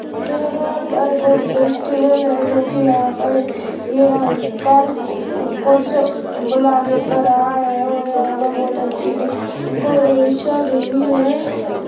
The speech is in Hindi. यहाँ पर कोई फेस्टिवल है जो की यहाँ पर ये अंकल कुछ बुलाने पर आए हैं और यहाँ पर बहुत अच्छी डेकरैशन हुई है।